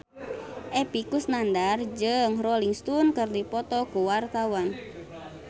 Epy Kusnandar jeung Rolling Stone keur dipoto ku wartawan